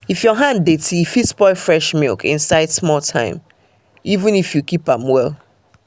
if your hand dirty e fit spoil fresh milk inside small time even if you keep am well